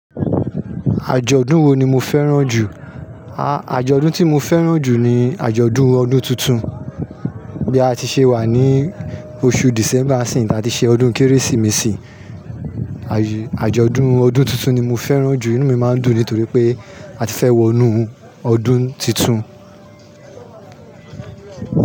Àjọ̀dún wo ni mo fẹ́ràn jù? Àjọ̀dún tí mo fẹ́ràn jù ni àjọ̀dún ọdún tuntun. Bí a ti ṣe wà ní oṣù December n siiyin ta ti ṣe ọdún Kérésìmesì. Àjọ̀dún ọdún tuntun ni mo fẹ́ràn jù ínú mi máa ń dùn nítorí pé a ti fẹ́ wọnú ọdún tuntun.